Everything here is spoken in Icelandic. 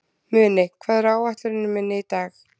Muni, hvað er á áætluninni minni í dag?